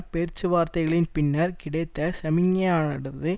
பேச்சுவார்த்தைகளின் பின்னர் கிடைத்த சமிக்ஞையானது